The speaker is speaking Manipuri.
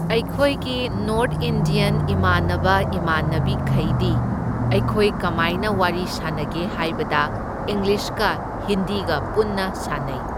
ꯑꯩꯈꯣꯏꯒꯤ ꯅꯣꯔꯠ ꯏꯟꯗ꯭ꯌꯟ ꯏꯃꯥꯟꯅꯕ ꯏꯃꯥꯟꯅꯕꯤ ꯈꯩꯗꯤ ꯑꯩꯈꯣꯏ ꯀꯃꯥꯏꯅ ꯋꯥꯔꯤ ꯁꯥꯟꯅꯒꯦ ꯍꯥꯏꯕꯗ ꯏꯪꯂꯤꯁꯀ ꯍꯤꯟꯗꯤꯒ ꯄꯨꯟꯅ ꯁꯥꯟꯅꯩ꯫